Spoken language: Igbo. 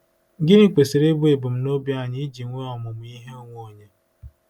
Gịnị kwesịrị ịbụ ebumnobi anyị ji enwe ọmụmụ ihe onwe onye?